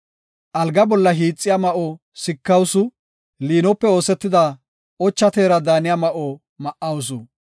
Alga bolla hiixiya ma7o sikawusu; liinope oosetida ocha teera daaniya ma7o ma7awusu.